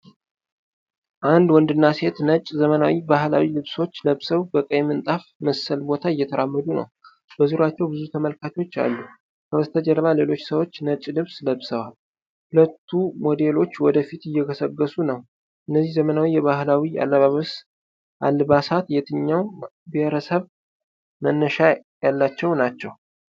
አንድ ወንድና ሴት ነጭ ዘመናዊ ባህላዊ ልብሶች ለብሰው በቀይ ምንጣፍ መሰል ቦታ እየተራመዱ ነው። በዙሪያቸው ብዙ ተመልካቾች አሉ። ከበስተጀርባ ሌሎች ሰዎችም ነጭ ልብስ ለብሰዋል። ሁለቱ ሞዴሎች ወደ ፊት እየገሰገሱ ነው። እነዚህ ዘመናዊ ባህላዊ አልባሳትየየትኛው ብሔረሰብ መነሻ ያላቸው ናቸው?